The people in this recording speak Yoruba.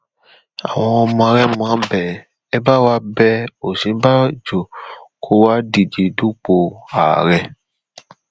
àwọn ọmọ rẹmọ bẹ ẹ bá wá bẹ òsínbàbò kó wáá díje dupò ààrẹ